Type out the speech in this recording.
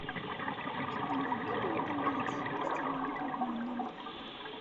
не могли бы вы поменять постельное белье в моем номере